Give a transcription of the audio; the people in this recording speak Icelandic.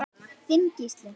Þinn Gísli.